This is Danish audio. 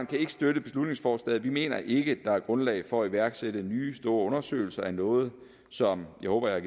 kan ikke støtte beslutningsforslaget vi mener ikke at der er grundlag for at iværksætte nye store undersøgelser af noget som jeg håber jeg